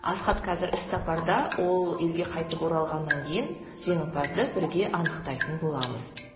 асхат қазір іс сапарда ол елге қайтып оралғаннан кейін жеңімпазды бірге анықтайтын боламыз